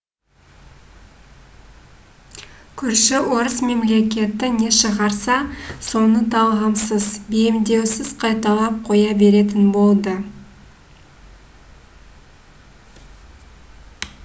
көрші орыс мемлекеті не шығарса соны талғамсыз бейімдеусіз қайталап қоя беретін болды